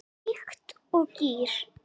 Líkt og gír